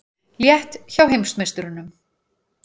Létt hjá heimsmeisturunum